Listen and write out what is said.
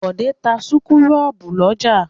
Bọ̀dé ń ta súkúrọ́bù lọ́jà.